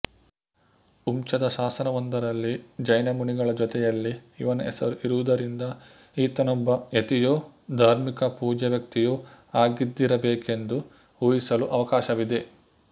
ಹುಮ್ಚದ ಶಾಸನವೊಂದರಲ್ಲಿ ಜೈನಮುನಿಗಳ ಜೊತೆಯಲ್ಲಿ ಇವನ ಹೆಸರೂ ಇರುವುದರಿಂದ ಈತನೊಬ್ಬ ಯತಿಯೋ ಧಾರ್ಮಿಕ ಪೂಜ್ಯವ್ಯಕ್ತಿಯೋ ಆಗಿದ್ದಿರಬೇಕೆಂದು ಊಹಿಸಲು ಅವಕಾಶವಿದೆ